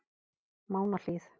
Mánahlíð